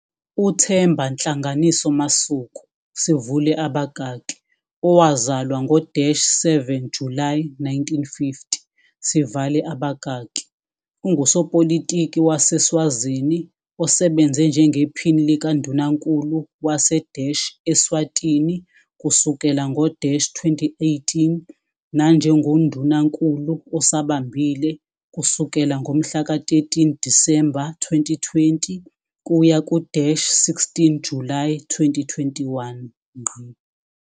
UThemba Nhlanganiso Masuku, sivule abakaki owazalwa ngo-7 Julayi 1950 sivale babakaki ungusopolitiki waseSwazini osebenze njengePhini likaNdunankulu wase- Eswatini kusukela ngo-2018 nanjengoNdunankulu osabambile kusukela ngomhlaka 13 Disemba 2020 kuya ku-16 Julayi 2021.